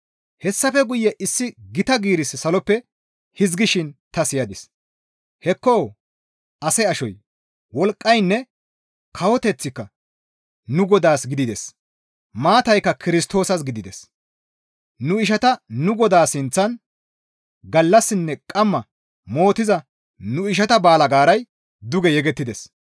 Hessafe guye issi gita giirissi saloppe hizgishin ta siyadis; «Hekko ase ashoy, wolqqaynne kawoteththika nu Godaas gidides; maataykka Kirstoosas gidides. Nu ishata nu Godaa sinththan gallassinne qamma mootiza nu ishata baalgaaray duge yegettides.